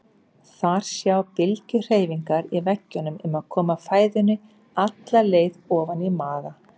Þar sjá bylgjuhreyfingar í veggjunum um að koma fæðunni alla leið ofan í maga.